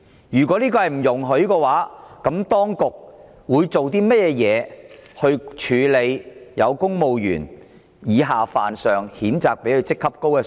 如果不容許有此情況，當局會如何處理以下犯上、譴責上司的公務員？